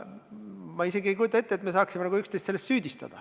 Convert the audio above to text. Ma isegi ei kujuta ette, et me saaksime üksteist selles süüdistada.